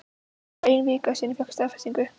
Það er ein vika síðan ég fékk staðfestingu.